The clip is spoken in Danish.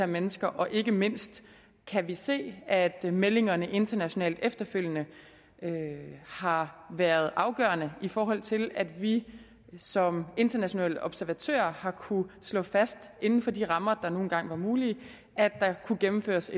mennesker og ikke mindst kan vi se at meldingerne internationalt efterfølgende har været afgørende i forhold til at vi som internationale observatører har kunnet slå fast inden for de rammer der nu engang var mulige at der kunne gennemføres